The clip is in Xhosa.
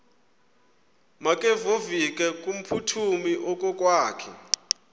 makevovike kumphuthumi okokwakhe